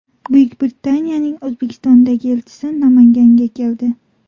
Buyuk Britaniyaning O‘zbekistondagi elchisi Namanganga keldi.